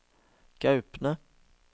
Gaupne